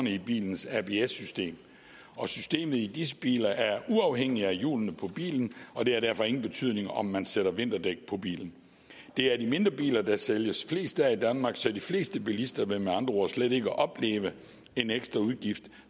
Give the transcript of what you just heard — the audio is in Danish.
i bilens abs system og systemet i disse biler er uafhængigt af hjulene på bilen og det har derfor ingen betydning om man sætter vinterdæk på bilen det er de mindre biler der sælges flest af i danmark så de fleste bilister vil med andre ord slet ikke opleve en ekstra udgift